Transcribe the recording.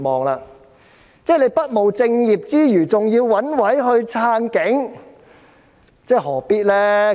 局方不務正業之餘，還要找藉口支持警察，何必呢？